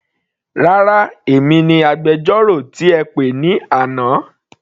Rárá, èmi ni agbẹjọ́rò tí ẹ pè ní àná.